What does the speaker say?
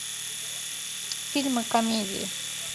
фильмы комедии